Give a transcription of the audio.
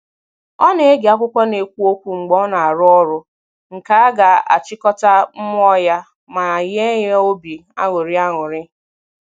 Ọ na-ege akwụkwọ n'ekwu okwu mgbe ọ na-arụ ọrụ, nke a ga-achịkọta mmụọ ya ma nye ya obi aṅụrị. aṅụrị.